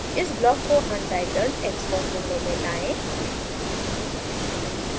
इस ब्लॉक को untitledxcos window में लाएँ